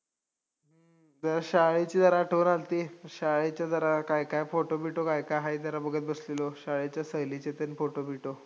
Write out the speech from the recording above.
जरा शाळेची जरा आठवण आल्ती, म शाळेचे जरा काय काय photo बिटो काय काय हाय जरा बघत बसलेलो, शाळेच्या सहलीचे photo बिटो